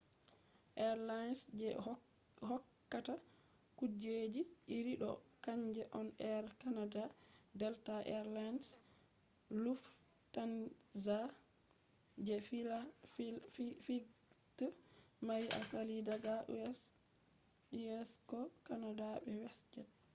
airlines je hokkata kujeji iri ɗo kanje on air canada delta air lines lufthansa je flights mari asali daga u.s. ko canada be westjet